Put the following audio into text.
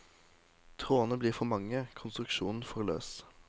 Trådene blir for mange, konstruksjonen for løs.